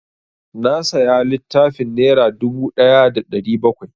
Na saya littafin nera dubu ɗaya da ɗari bakwai